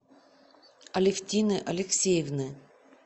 алевтины алексеевны